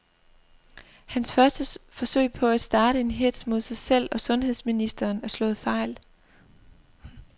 Hans første forsøg på at starte en hetz mod sig selv og sundheds ministeren er slået fejl.